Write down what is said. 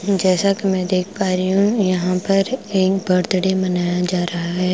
जैसा कि मैं देख पा रही हूं यहां पर एक बर्थडे मनाया जा रहा है।